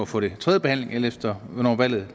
få det tredjebehandlet alt efter hvornår valget